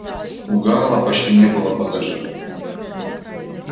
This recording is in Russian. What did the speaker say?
у гаала почти не было багажа